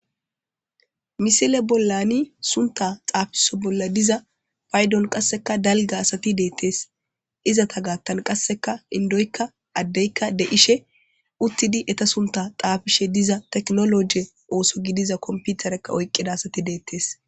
misile bollani sunta xaafiso bolla diza paydon qasseka dalga asati deettees izata gaattan qasseka indoykka addeykka de ishe uttidi eta sunta xaafishe diza teknologe ooso gidiza komputarekka oyqqida asati deettes